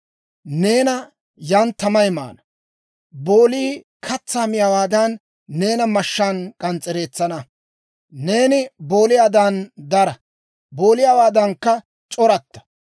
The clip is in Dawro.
Neena yaan tamay maana; boolii katsaa miyaawaadan, neena mashshaan k'ans's'ereetsana. Neeni booliyaadan dara; booliyaawaadankka c'oratta.